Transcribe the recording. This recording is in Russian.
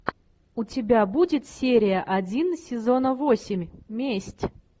у тебя будет серия один сезона восемь месть